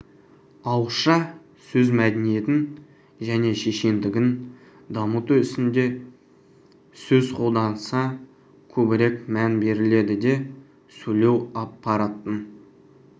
ауызша сөз мәдениетін және шешендігін дамыту ісінде сөз қолданысына көбірек мән беріледі де сөйлеу аппаратын